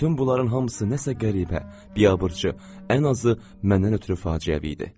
Bütün bunların hamısı nəsə qəribə, biabırçı, ən azı məndən ötrü faciəvi idi.